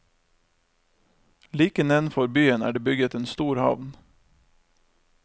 Like nedenfor byen er det bygget en stor havn.